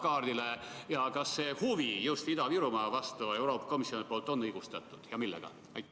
Kas Euroopa Komisjoni huvi just Ida-Virumaa vastu on õigustatud ja millega?